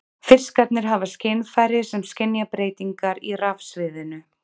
Fiskarnir hafa skynfæri sem skynja breytingar í rafsviðinu.